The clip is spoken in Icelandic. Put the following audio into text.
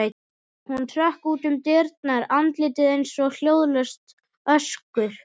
Hún hrökk út um dyrnar, andlitið eins og hljóðlaust öskur.